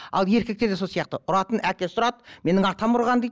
ал еркектер де сол сияқты ұратын әкесі ұрады менің атам ұрған дейді